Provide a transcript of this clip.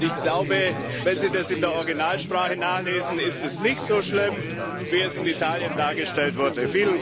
Und ich glaube, wenn Sie das in der Originalsprache nachlesen, ist es nicht so schlimm, wie es in Italien dargestellt wurde.